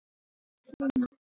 Mímir Másson.